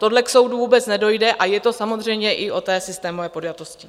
Tohle k soudu vůbec nedojde, a je to samozřejmě i o té systémové podjatosti.